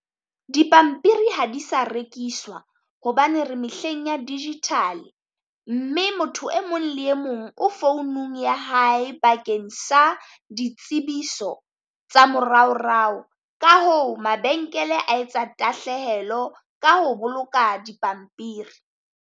Dipampiri ha di sa rekiswa hobane re mehleng ya digital, mme motho e mong le e mong o founung ya hae. Bakeng sa ditsebiso tsa moraorao ka hoo mabenkele a etsa tahlehelo ka ho boloka dipampiri.